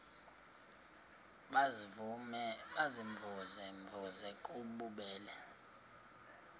baziimvuze mvuze bububele